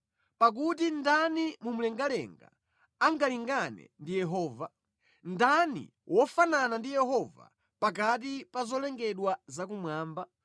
Pakuti ndani mu mlengalenga angalingane ndi Yehova? Ndani wofanana ndi Yehova pakati pa zolengedwa zakumwamba?